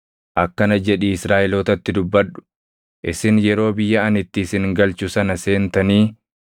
“Akkana jedhii Israaʼelootatti dubbadhu: ‘Isin yeroo biyya ani itti isin galchu sana seentanii